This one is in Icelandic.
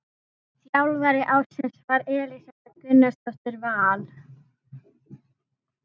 Þjálfari ársins var Elísabet Gunnarsdóttir Val.